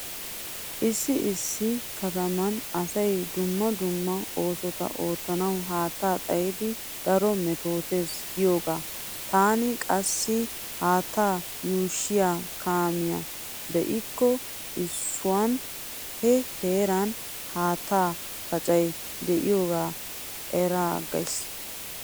Issi issi kataman asay dumma dumma oosota oottanawu haattaa xayidi daro mettootees giyoogaa. Taani qassi haattaa yuushshiya kaamiya be'ikko eesuwan he heeran haattaa pacay diyogaa eraaggays.